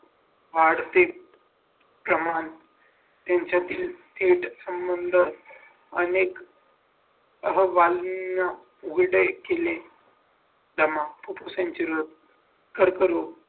वाढती प्रमाण त्यांच्यातील थेट संबंध अनेक अहवालनीय जमा फुफ्फुसांची लत कर्करोग